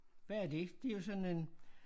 Hvad er det det jo sådan en